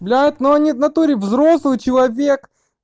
блять но они в натуре взрослый человек